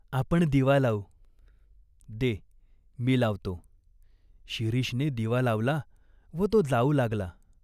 आपण दिवा लावू." "दे, मी लावतो." "शिरोषने दिवा लावला व तो जाऊ लागला.